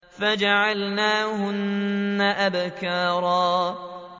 فَجَعَلْنَاهُنَّ أَبْكَارًا